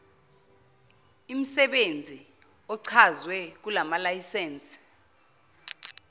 imsebenzi ochazwe kulayisense